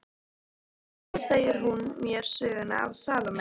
Síðan segir hún mér söguna af Salóme.